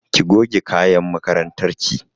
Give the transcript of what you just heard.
Ki goge kayan makarantar ki!